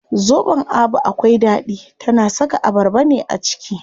Zobon Abu akwai ɗaɗi, tana saka abarba ne a ciki.